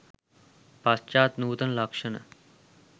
පශ්චාත් නූතන ලක්ෂණ